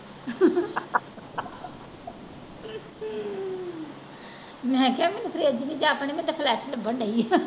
ਮੈਂ ਕਿਹਾ ਮੈਨੂੰ fridge ਨਹੀਂ ਜਾਪਣ ਦੀ ਮੈਨੂੰ ਤੇ flesh ਲੱਬਣ ਦਈ ਆ।